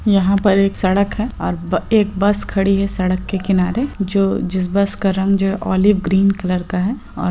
यहाँ पर एक सड़क है और ब एक बस खड़ी है सडक के किनारे जो जिस बस का रंग जो है ओलिव ग्रीन कलर का है और --